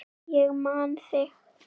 Ég man þig.